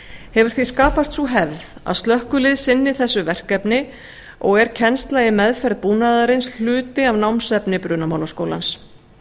hefur því skapast sú hefð að slökkvilið sinni þessu verkefni og er kennsla í meðferð búnaðarins hluti af námsefni brunamálaskólans